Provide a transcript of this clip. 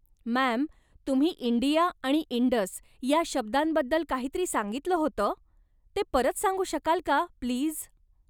Ma'am, तुम्ही India आणि Indus या शब्दांबद्दल काहीतरी सांगितलं होतं? ते परत सांगू शकाल का, प्लीज?